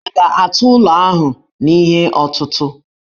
Ha ga-atụ ụlọ ahụ n'ihe ọtụtụ̀?